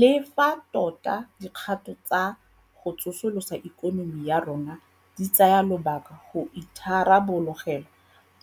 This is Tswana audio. Le fa tota dikgato tsa go tsosolosa ikonomi ya rona di tsaya lobaka go itharabologelwa